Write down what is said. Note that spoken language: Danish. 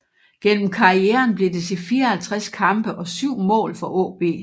Gennem karrieren blev det til 54 kampe og 7 mål for AaB